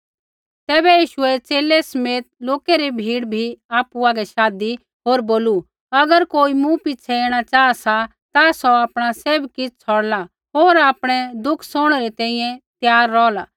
तैबै यीशुऐ च़ेले समेत लोकै री भीड़ बी आपु हागै शाधी होर बोलू अगर कोई मूँ पिछ़ै ऐणा चाहा सा ता सौ आपणा सैभ किछ़ छ़ौड़ला होर आपणै दुख सौहणै री तैंईंयैं त्यार रौहला